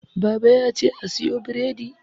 baba ya ce a siyo bredi